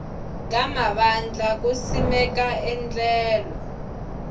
ka mavandla ku simeka endlelo